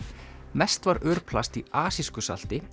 mest var örplasti í asísku salti